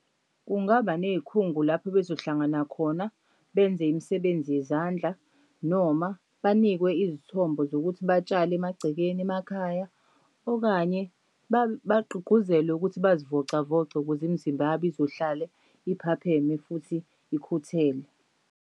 Kungaba ney'khungo lapho bezohlangana khona benze imisebenzi yezandla noma banikwe izithombo zokuthi batshale emagcekeni emakhaya okanye bagqugquzelwe ukuthi bazivocavoce ukuze imizimba yabo izohlale iphapheme futhi ikhuthele.